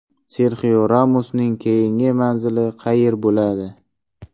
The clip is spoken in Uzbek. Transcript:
Serxio Ramosning keyingi manzili qayer bo‘ladi?